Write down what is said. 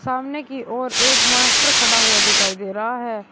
सामने की ओर एक मास्टर खड़ा हुआ दिखाई दे रहा है।